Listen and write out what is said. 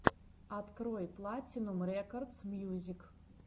открой платинум рекордс мьюзик